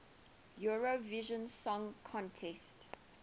eurovision song contest